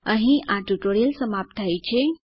અહીં આ ટ્યુટોરીયલ સમાપ્ત થાય છે